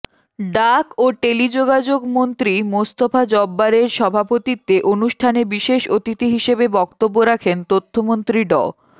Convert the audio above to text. ডাক ও টেলিযোগাযোগমন্ত্রী মোস্তফা জব্বারের সভাপতিত্বে অনুষ্ঠানে বিশেষ অতিথি হিসেবে বক্তব্য রাখেন তথ্যমন্ত্রী ড